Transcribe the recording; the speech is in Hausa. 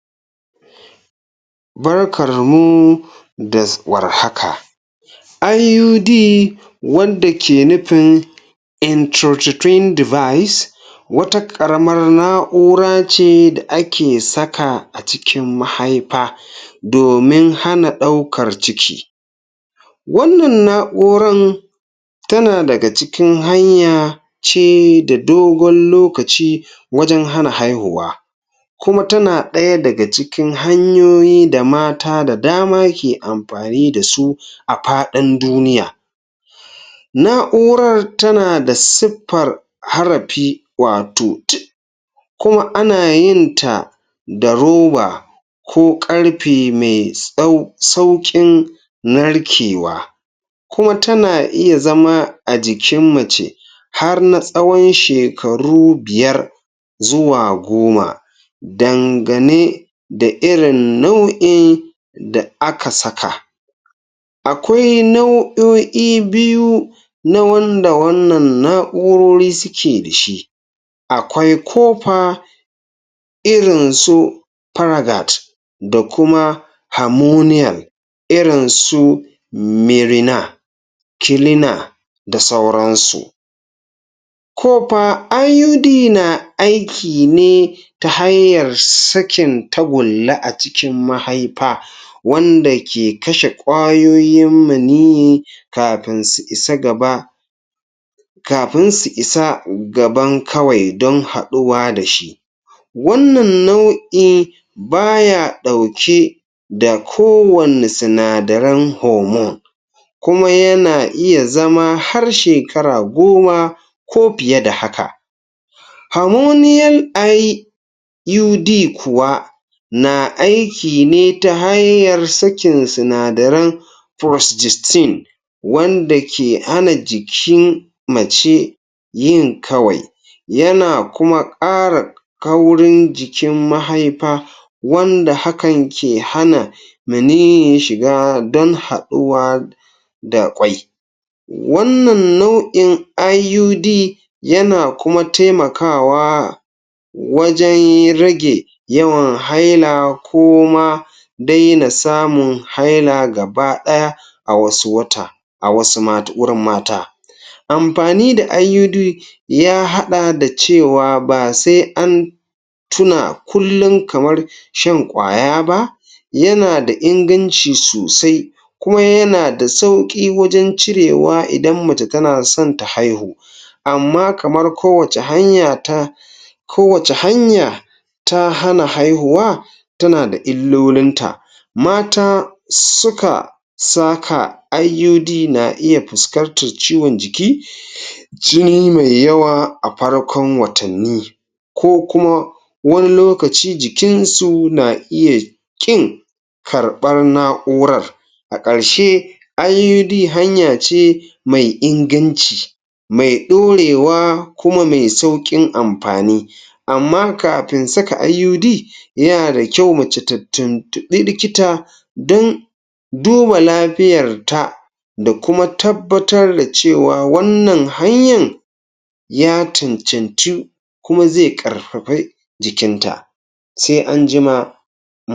Barkarmu da um war haka! IUD wanda ke nufin intrauterine device wata ƙaramar na'ura ce da ake saka a cikin mahaifa domin hana ɗaukar ciki. Wannan na'uran tana daga cikin hanya ce da dogon lokaci wajen hana haihuwa kuma tana ɗaya daga cikin hanyoyi da mata da dama ke amfani da su a faɗin duniya. Na'urar tana da siffara harafi wato T kuma ana yinta da roba ko ƙarfe mai sauƙin narkewa kuma tana iya zama a jikin mace har na tsawon shekaru biyar zuwa goma dangane da irin nau'in da aka saka. Akwai nau'o'i biyu na wanda wannan na'urori suke da shi: akwai kofa irin su faradat da kuma hamoniyal, irin su mirina, kilina da sauransu. Kofa IUD na aiki neta hanyar sakin tagulla a cikin mahaifa wanda ke kashe ƙwayoyin maniyyi kafin su isa gaba. Kafin su isa gaban kawai don haɗuwa da shi Wannan nau'i ba ya ɗauke da kowanne sinadaran homon kuma yana iya zama har shekara goma ko fiye da haka. Hormonial IUD kuwa na aiki ne ta hanyar sakin sinadaran furostistin wanda ke hana jikin mace yin kawai, yana kuma ƙara kaurin jikin mahaifa wanda hakan ke hana maniyyin shiga don haɗuwa da ƙwai Wannan nau'in IUD yana kuma taimakawa wajen rage yawan haila ko ma daina samun haila gaba ɗaya a wasu wata a wasu wurin mata. Amfani da IUD ya haɗa da cewa ba sai an tuna kullum kamar shan ƙwaya ba; yana da inganci sosai. Kuma yana da sauƙi wajen cirewa idan mace tana son ta haihu amma kamar kowace hanya ta, kowace hanya ta hana haihuwa, tana da illolinta. Mata suka saka IUD na iya fuskantar ciwon jiki, jini mai yawa a farkon mwatanni ko kuma wani lokaci jikinsu na ya ƙin karɓar na'urar. A ƙarshe, IUD hanya ce mai inganci mai ɗorewa kuma mai sauƙin amfani amma kafin saka IUD yana da kyau mace ta tuntuɓi likita don duba lafiyarta da kuma tabbatar da cewa wannan hanyin ya cancanci kuma zai ƙarfafi jikinta. Sai an jima um.